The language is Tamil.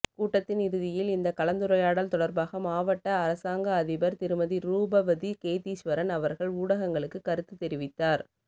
கூட்டத்தின் இறுதியில் இந்த கலந்துரையாடல் தொடர்பாக மாவட்ட அரசாங்க அதிபர் திருமதி ரூபவதி கேதீஸ்வரன் அவர்கள் ஊடகங்களுக்கு கருத்து தெரிவித்தார்